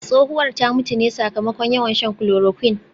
Tsohuwar ta mutu ne sakamakon yawan shan chloroquine